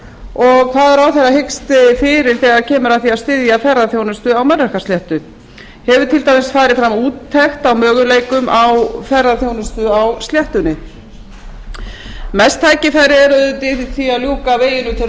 og hvað ráðherra hyggist fyrir þegar kemur að því að styðja ferðaþjónustu á melrakkasléttu hefur til dæmis farið fram úttekt á möguleikum á ferðaþjónustu á sléttunni mest tækifæri er auðvitað í því að ljúka veginum til